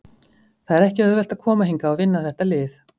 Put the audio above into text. Það er ekki auðvelt að koma hingað og vinna þetta lið.